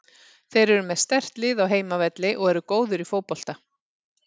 Þeir eru með sterkt lið á heimavelli og eru góðir í fótbolta.